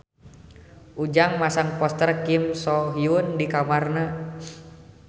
Ujang masang poster Kim So Hyun di kamarna